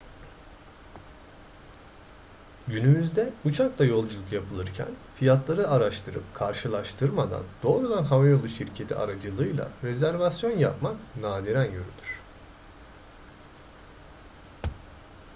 günümüzde uçakla yolculuk yapılırken fiyatları araştırıp karşılaştırmadan doğrudan havayolu şirketi aracılığıyla rezervasyon yapmak nadiren görülür